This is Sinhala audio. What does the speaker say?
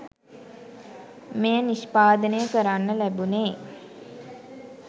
මෙය නිෂ්පාදනය කරන්න ලැබුණේ.